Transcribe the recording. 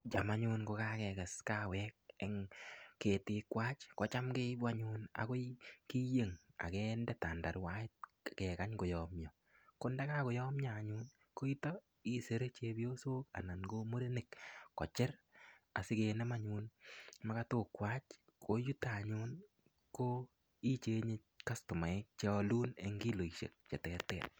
Cham anyun ngo kakekes kawek eng ketik kwach, kocham keibu anyun akoi keiyen akende tandaruait, akekany koyamyo. Ko ndakakoyamyo anyu, ko yutok, isire chepyosok anan ko murenik kochir. Asikenem makatok kwach. Ko yutok anyun, ichenge kastomaisiek che alun eng kilosisiek che ter ter.